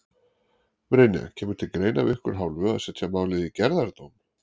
Brynja: Kemur til greina af ykkar hálfu að setja málið í gerðardóm?